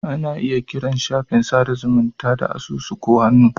Ana iya kiran shafin sada zumunta da asusu ko hannu.